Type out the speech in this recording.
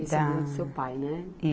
Esse é o nome do seu pai, né?